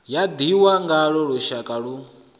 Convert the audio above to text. ya ḓihwa ngaḽo luswayo lu